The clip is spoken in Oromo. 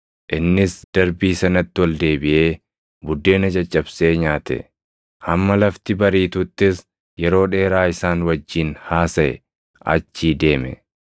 Innis darbii sanatti ol deebiʼee buddeena caccabsee nyaate; hamma lafti bariituttis yeroo dheeraa isaan wajjin haasaʼe achii deeme.